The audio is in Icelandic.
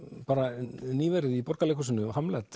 bara nýverið í Borgarleikhúsinu